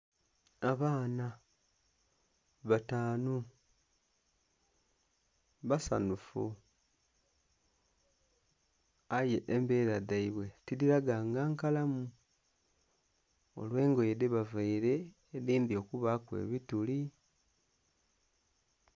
Abaana bataanu basanhufu aye embeera dhaibwe tidhiraga nga nkalamu olw'engoye dhe bavaire edindhi okubaaku ebituli.